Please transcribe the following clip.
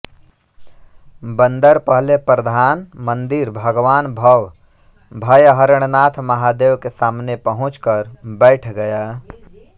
बंदर पहले प्रधान मंदिर भगवान भव भयहरणनाथ महादेव के सामने पहुँच कर बैठ गया